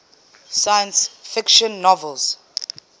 science fiction novels